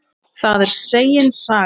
Það er segin saga.